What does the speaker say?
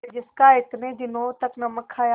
जिसका इतने दिनों तक नमक खाया